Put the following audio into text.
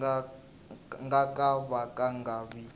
nga ka va nga vi